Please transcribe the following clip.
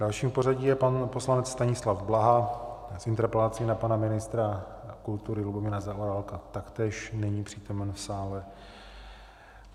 Dalším v pořadí je pan poslanec Stanislav Blaha s interpelací na pana ministra kultury Lubomíra Zaorálka - taktéž není přítomen v sále.